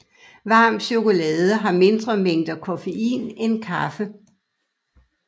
Varm chokolade har mindre mængder koffein end kaffe